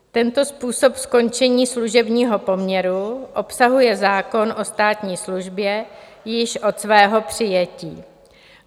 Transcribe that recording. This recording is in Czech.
Tento způsob skončení služebního poměru obsahuje zákon o státní službě již od svého přijetí.